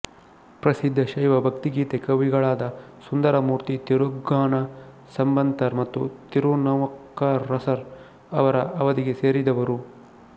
ಪ್ರಸಿದ್ಧ ಶೈವ ಭಕ್ತಿಗೀತೆ ಕವಿಗಳಾದ ಸುಂದರಮೂರ್ತಿ ತಿರುಗ್ನಾನ ಸಂಬಂತರ್ ಮತ್ತು ತಿರುನವುಕ್ಕರಸರ್ ಅವರ ಅವಧಿಗೆ ಸೇರಿದವರು